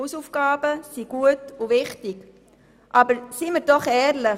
Hausaufgaben sind gut und wichtig, aber seien wir ehrlich: